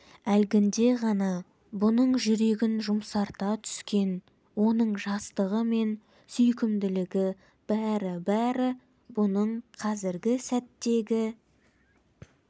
әлгінде ғана бұның жүрегін жұмсарта түскен оның жастығы мен сүйкімділігі бәрі-бәрі бұның қазіргі сәттегі